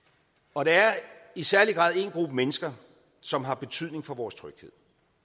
og der er i særlig grad en gruppe mennesker som har betydning for vores tryghed